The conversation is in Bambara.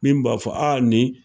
Min b'a fɔ aa nin